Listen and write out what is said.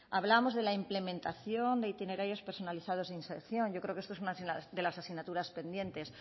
hablábamos de la implementación de itinerarios personalizados de inserción yo creo que esto es una de las asignaturas pendientes